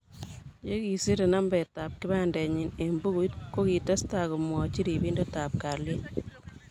Yekiserei nambetab kipandinyi eng bukuit, kokitestai komwoch ribindetab kalyet